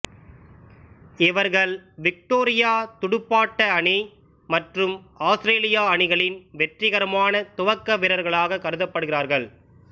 இவர்கள் விக்டோரியா துடுப்பாட்ட அணி மற்றும் ஆத்திரேலியா அணிகளின் வெற்றிகரமான துவக்க வீரரகளாக கருதப்படுகிறார்கள்